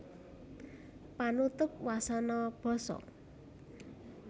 Panutup wasana basa